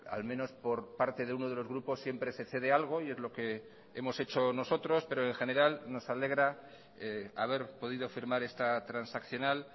al menos por parte de uno de los grupos siempre se cede algo y es lo que hemos hecho nosotros pero en general nos alegra haber podido firmar esta transaccional